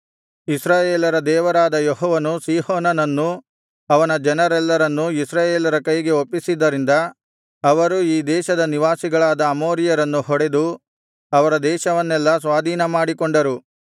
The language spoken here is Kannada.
ಇಸ್ರಾಯೇಲರ ದೇವರಾದ ಯೆಹೋವನು ಸೀಹೋನನನ್ನೂ ಅವನ ಜನರೆಲ್ಲರನ್ನೂ ಇಸ್ರಾಯೇಲರ ಕೈಗೆ ಒಪ್ಪಿಸಿದ್ದರಿಂದ ಅವರು ಈ ದೇಶದ ನಿವಾಸಿಗಳಾದ ಅಮೋರಿಯರನ್ನು ಹೊಡೆದು ಅವರ ದೇಶವನ್ನೆಲ್ಲಾ ಸ್ವಾಧೀನಪಡಿಸಿಕೊಂಡರು